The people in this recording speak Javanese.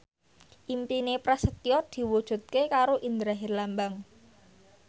impine Prasetyo diwujudke karo Indra Herlambang